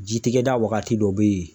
Jitigɛda wagati dɔ bɛ yen